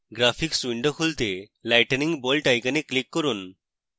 graphics window খুলতে lightning bolt icon click করুন